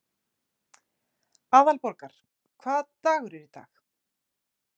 Aðalborgar, hvaða dagur er í dag?